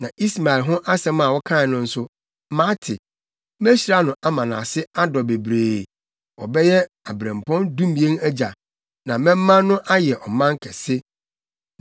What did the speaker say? Na Ismael ho asɛm a wokae no nso, mate. Mehyira no ama nʼase adɔ bebree. Ɔbɛyɛ abirɛmpɔn dumien agya. Na mɛma no ayɛ ɔman kɛse.